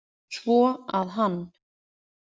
Svo að hann.